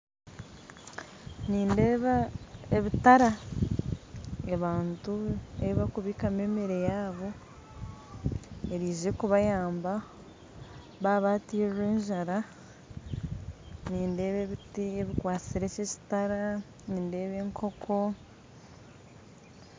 Nindeeba ebitara, abantu ebi barikubikamu emere yaabob erize kubayamba baaba batirwe enjara nindeeba ebiti bikwasire eki ekitara, nindeeba enkoko